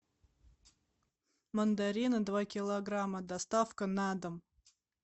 мандарины два килограмма доставка на дом